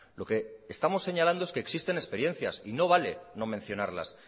lo que estamos señalando es que existen experiencias y no vale no mencionarlas